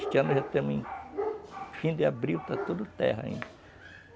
Este ano já estamos em fim de abril, está tudo terra ainda.